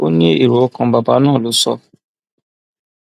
ó ní èrò ọkàn bàbá náà ló sọ